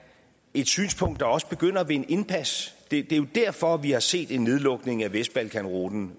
et synspunkt der også begynder at vinde indpas det er jo derfor vi har set en nedlukning af vestbalkanruten